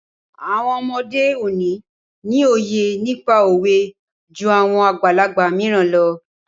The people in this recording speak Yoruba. Àwọn ọmọ òde òní ni òye nípa òwe jú àwọn àgbàlagbà mìíràn lọ.